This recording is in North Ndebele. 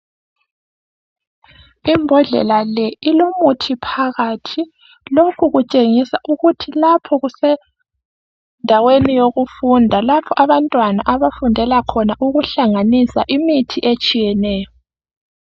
Imbodlela leyi ilomuthi phakathi, lokhu kutshengisa ukuthi lapha kusendaweni yokufunda lapha abantwana abahlanganisa khona imithi etshiyeneyo.